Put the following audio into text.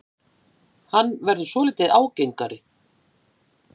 Hann verður svolítið ágengari.